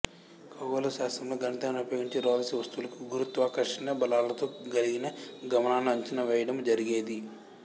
ఖగోళ శాస్త్రము లో గణితాన్ని ఉపయోగించి రోదసి వస్తువవులకు గురుత్వాకర్షణ బలాలతో గలిగిన గమనాలను అంచనా వేయడము జరిగేది